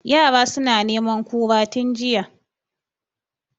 Yara suna neman kura tun jiya